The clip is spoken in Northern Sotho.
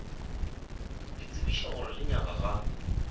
le tsebiša gore lenyaga ga